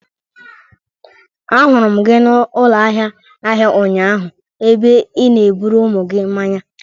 Ahụrụ m gị n'ụlọ ahịa ahịa ụnyaahụ, ebe ị na-eburu ụmụ gị mmanya.